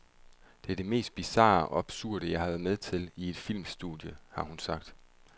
Det er det mest bizarre og absurde jeg har været med til i et filmstudie, har hun sagt.